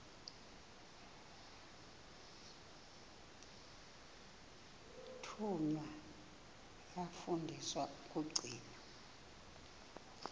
thunywa yafundiswa ukugcina